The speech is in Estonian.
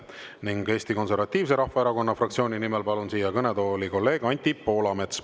Ning Eesti Konservatiivse Rahvaerakonna fraktsiooni nimel palun siia kõnetooli kolleeg Anti Poolametsa.